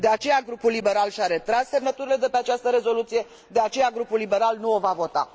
De aceea grupul liberal și a retras semnăturile de pe această rezoluție, de aceea grupul liberal nu o va vota.